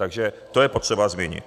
Takže to je potřeba zmínit.